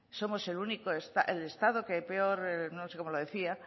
somos el estado que peor no sé cómo lo decía